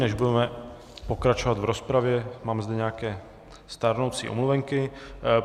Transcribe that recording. Než budeme pokračovat v rozpravě, mám zde nějaké stárnoucí omluvenky.